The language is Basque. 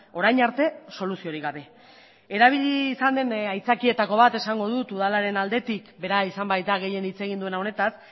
orain arte soluziorik gabe erabili izan den aitzakietako bat esango dut udalaren aldetik bera izan baita gehien hitz egin duena honetaz